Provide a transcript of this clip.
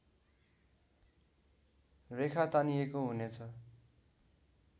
रेखा तानिएको हुनेछ